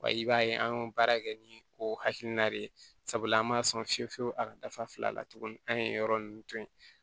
Wa i b'a ye an y'o baara kɛ ni o hakilina de ye sabula an man sɔn fiyewu fiyewu a ka dafa fila la tuguni an ye yɔrɔ ninnu to ye